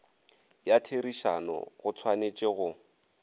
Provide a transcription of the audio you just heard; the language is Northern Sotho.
ya therišano go tshwanetše go